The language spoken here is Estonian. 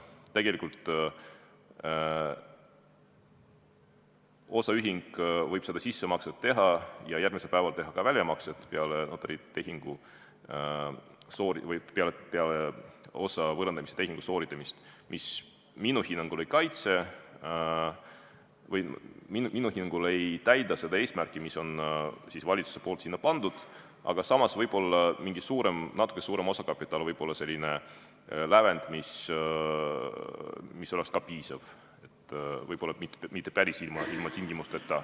Tegelikult võib osaühing sissemakse teha ja järgmisel päeval teha ka väljamakse peale osa võõrandamise tehingut, mis minu hinnangul ei täida seda eesmärki, mis on valitsusel siia pandud, aga samas natuke suurem osakapital võib olla selline lävend, mis oleks ka piisav, võib-olla mitte päris ilma tingimusteta.